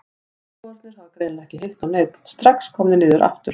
Trúboðarnir hafa greinilega ekki hitt á neinn, strax komnir niður aftur.